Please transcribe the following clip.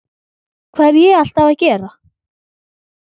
Hvað er ég alltaf að gera?